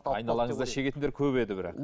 айналаңызда шегетіндер көп еді бірақ